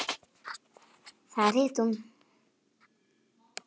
Þar hitti hún